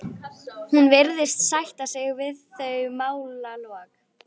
Hún virðist sætta sig við þau málalok.